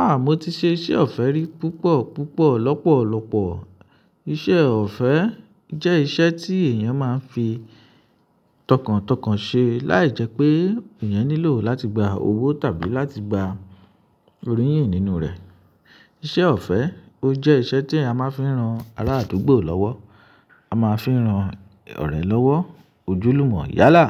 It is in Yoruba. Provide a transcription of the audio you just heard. Ah! Mo ti ṣe iṣẹ́ ọ̀fẹ́ rí púpọ̀ púpọ̀ lọ́pọ̀lọ́pọ̀. Iṣẹ́ ọ̀fẹ́ jẹ́ iṣẹ́ tí èyàn máa ń fi tọkàntọkàn ṣe láì jẹ́ pé èèyàn nílò láti gba owó tàbí láti gba oriyìn nínú rẹ̀. Iṣẹ́ ọ̀fẹ́, ó jẹ́ iṣẹ́ tí a máa ń fi ran ará àdúgbò lọ́wọ́, a máa fi ń ran ọ̀rẹ́ lọ́wọ́, ojúlùmọ̀, yálà,